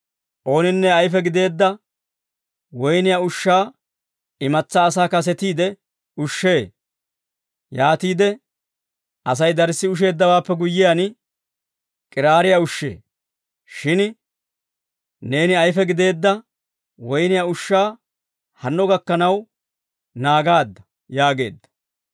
«Ooninne ayife gideedda woyniyaa ushshaa imatsaa asaa kasetiide ushshee; yaatiide Asay darssi usheeddawaappe guyyiyaan, k'iraariyaa ushshee. Shin neeni ayife gideedda woyniyaa ushshaa hanno gakkanaw naagaadda!» yaageedda.